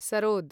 sarod